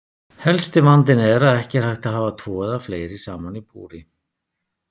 Helsti vandinn er að ekki er hægt að hafa tvo eða fleiri saman í búri.